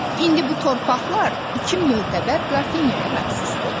İndi bu torpaqlar iki möhtəbər qrafinyaya məxsusdur.